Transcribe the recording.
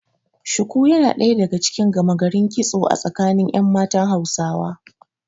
Shuku yana ɗaya daga cikin gama garin kitso a tsakanin ƴan matan Hausawa.